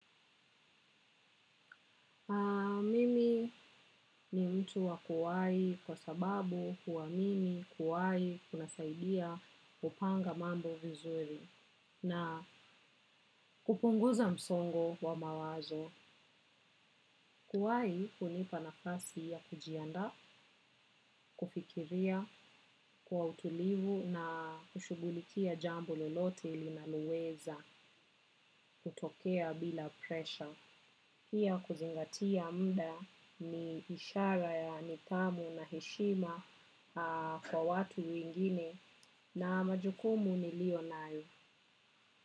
Mimi ni mtu wa kuwai kwa sababu kuwa mimi kuwai kunasaidia kupanga mambo vizuri na kupunguza msongo wa mawazo. Kuwai hunipa nafasi ya kujiandaa, kufikiria, kwa utulivu na kushugulikia jambo lolote linaloweza kutokea bila pressure. Pia kuzingatia muda ni ishara ya nidhamu na heshima kwa watu wengine na majukumu nilio nayo.